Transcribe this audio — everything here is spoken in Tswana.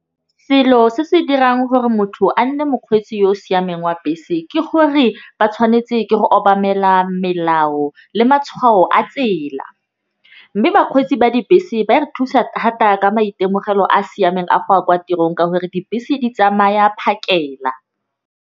Selo se se dirang gore motho a nne mokgweetsi yo o siameng wa bese ke gore ba tshwanetse ke go obamela melao le matshwao a tsela. Mme bakgweetsi ba dibese ba re thusa thata ka maitemogelo a siameng a go ya kwa tirong ka gore dibese di tsamaya phakela.